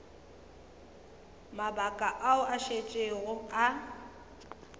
mabaka ao a šetšego a